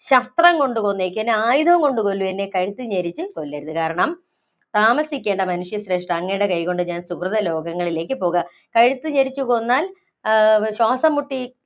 ശസ്ത്രം കൊണ്ടു കൊന്നേക്ക്. എന്നെ ആയുധം കൊണ്ട് കൊല്ലൂ, എന്നെ കഴുത്തു ഞെരിച്ച് കൊല്ലരുത്. കാരണം, താമസിക്കേണ്ട മനുഷ്യശ്രേഷ്ഠ, അങ്ങയുടെ കൈകൊണ്ട് ഞാന്‍ സുകൃത ലോകങ്ങളിലേക്ക് പോകാം. കഴുത്തു ഞെരിച്ച് കൊന്നാല്‍ ആ ശ്വാസംമുട്ടി